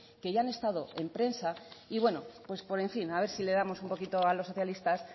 que ya han estado en prensa y bueno a ver si les damos un poquito a los socialistas